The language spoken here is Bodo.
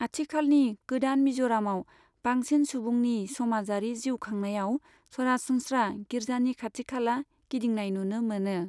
आथिखालनि गोदान मिज'रामआव बांसिन सुबुंनि समाजारि जिउ खांनायाव सरासनस्रा गिर्जानि खाथि खाला गिदिंनाय नुनो मोनो।